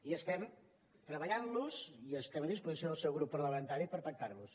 i estem treballant hi i estem a disposició del seu grup parlamentari per pactar los